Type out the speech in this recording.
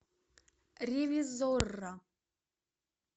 ревизорро